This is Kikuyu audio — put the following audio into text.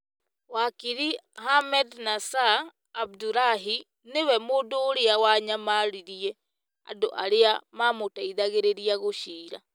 wakiri Ahmednassir Abdulahi nĩ we mũndũ ũrĩa wanyamaririe andũ arĩa mamũteithagĩrĩria gũciira,